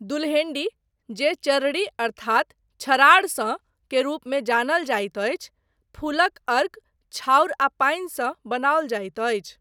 दुल्हेन्डी, जे चरड़ी अर्थात छराडसँ के रूपमे जानल जाइत अछि, फूलक अर्क, छाउर आ पानि सँ बनाओल जाइत अछि।